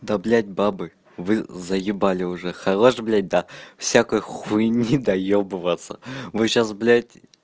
да блядь бабы вы заебали уже хорош блядь до всякой хуйни доёбываться вы сейчас блядь